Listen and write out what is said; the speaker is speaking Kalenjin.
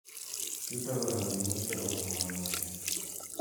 Chutok ko robinik tugul chebo somanoshek.